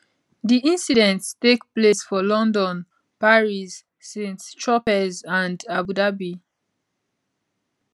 di incidents take place for london paris st tropez and abu dhabi